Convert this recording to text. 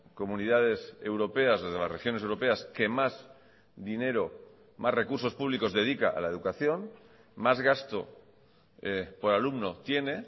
comunidades europeas desde las regiones europeas que más dinero más recursos públicos dedica a la educación más gasto por alumno tiene